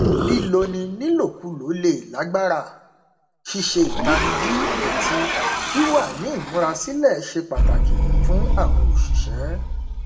líloni nílòkulò le lágbàra ṣíṣe ìtanijí àti wíwa ní ìmúra sílẹ ṣe pàtàkì fún àwọn òṣìṣẹ